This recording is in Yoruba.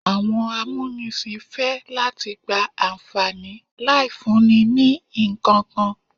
Àwọn amúnisìn fẹ́ láti gba àǹfàní láì fúnni ní ìkankan.